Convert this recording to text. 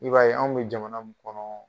I b'a ye anw bɛ jamana min kɔnɔ